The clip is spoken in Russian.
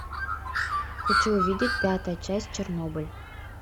хочу увидеть пятая часть чернобыль